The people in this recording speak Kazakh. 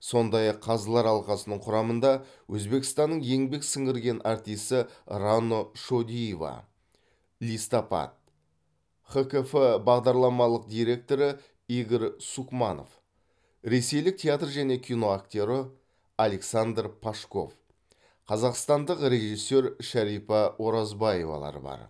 сондай ақ қазылар алқасының құрамында өзбекстанның еңбек сіңірген артисі рано шодиева листопад хкф бағдарламалық директоры игорь сукманов ресейлік театр және кино актері александр пашков қазақстандық режиссер шәрипа оразбаевалар бар